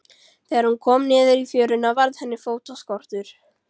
Þegar hún kom niður í fjöruna varð henni fótaskortur.